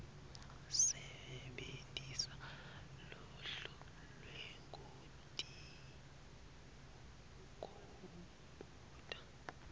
sebentisa luhlu lwekutikhumbuta